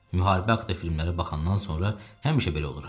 Müharibə haqda filmlərə baxandan sonra həmişə belə oluram.